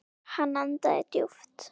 Hann andaði djúpt.